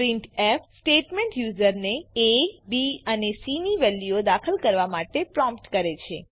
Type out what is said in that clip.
printf statement યુઝરને aબી અને સી ની વેલ્યુઓ દાખલ કરવા માટે પ્રોમ્પ્ટ કરે છે